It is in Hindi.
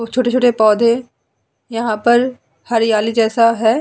बहुत छोटे-छोटे पोधे यहाँ पर हरियाली जैसा है।